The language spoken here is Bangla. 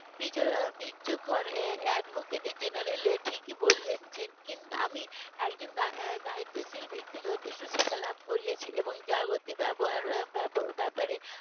advocate general ঠিকই বলেছেন কিন্তু আমি একজন দায়িত্বশীল ব্যক্তি যথেষ্ট শিক্ষা লাভ করেছি এবং যা জাগতিক ব্যবহার ব্যাপারে